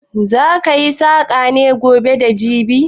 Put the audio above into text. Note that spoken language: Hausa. Za ki yi saƙa ne gobe da jibi?